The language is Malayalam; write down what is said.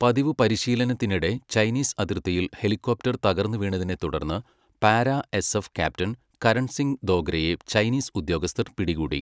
പതിവ് പരിശീലനത്തിനിടെ ചൈനീസ് അതിർത്തിയിൽ ഹെലികോപ്റ്റർ തകർന്നുവീണതിനെ തുടർന്ന് para SF captain Karan Singh ദോഗ്രയെ ചൈനീസ് ഉദ്യോഗസ്ഥർ പിടികൂടി.